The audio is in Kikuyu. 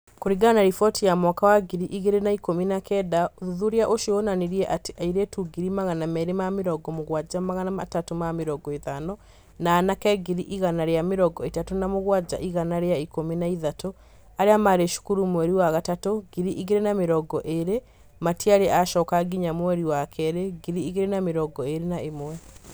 Kũringana na riboti ya mwaka wa ngiri igĩrĩ na ikũmi na kenda, ũthuthuria ũcio wonanirie atĩ airĩtu ngiri magana merĩ ma mĩrongo mugwanja magana atatu ma mĩrongo ĩtano na anake ngiri igana rĩa mĩrongo ĩtatũ na mũgwanja igana ria ikũmi na ithatũ arĩa maarĩ cukuru mweri wa gatatũ, ngiri igĩrĩ na mĩrongo ĩrĩ matiarĩ acoka nginya mweri wa kerĩ, ngiri igĩrĩ na mĩrongo ĩrĩ na ĩmwe.